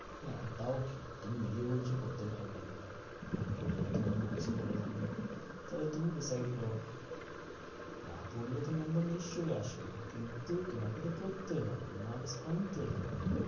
হ্যাঁ তাও কি তুমি নিজে বলছো পড়তে ভালো লাগে না। মন করে না তোমার maks ও ভালো লাগবে তাহলে তুমি decide করো না পড়লে তো number নিশ্চই আসে না কিন্তু তোমাকে তো পড়তে হবে maks আনতে হবে।